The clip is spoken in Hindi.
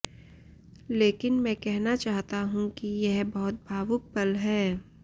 लेकिन मैं कहना चाहता हूं कि यह बहुत भावुक पल है